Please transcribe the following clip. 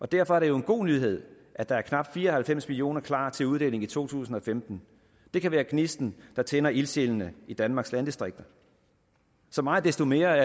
derfor er det jo en god nyhed at der er knap fire og halvfems million kroner klar til uddeling i to tusind og femten det kan være gnisten der tænder ildsjælene i danmarks landdistrikter så meget desto mere